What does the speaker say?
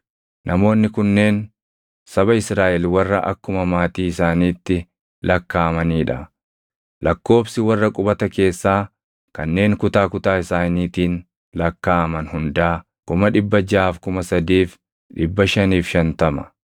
Namoonni kunneen saba Israaʼel warra akkuma maatii isaaniitti lakkaaʼamanii dha. Lakkoobsi warra qubata keessaa kanneen kutaa kutaa isaaniitiin lakkaaʼaman hundaa 603,550.